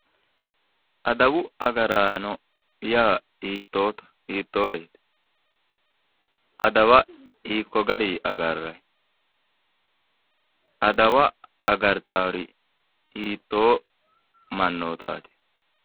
Adawu agaraano yaa hiittooreeti adawa hiikko gari agarrayi adawa agartawoori hittoo mannotaati